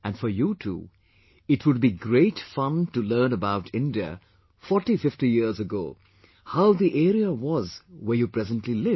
And for you too it would be great fun to learn about India 4050 years ago, how the area was where you presently live